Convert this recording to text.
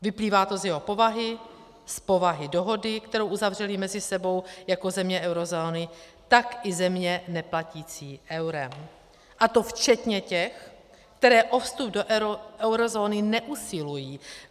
Vyplývá to z jeho povahy, z povahy dohody, kterou uzavřely mezi sebou jak země eurozóny, tak i země neplatící eurem, a to včetně těch, které o vstup do eurozóny neusilují.